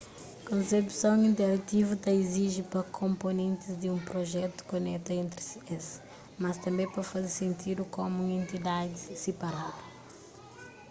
konsepson interativu ta iziji pa konponentis di un prujetu koneta entri es mas tanbê pa faze sentidu komu un entidadi siparadu